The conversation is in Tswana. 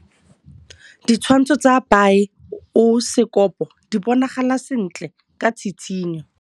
Ditshwantshô tsa biosekopo di bonagala sentle ka tshitshinyô.